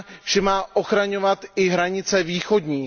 že má ochraňovat i hranice východní.